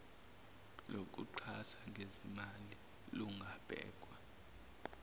lokuxhasa ngezimali lungabhekwa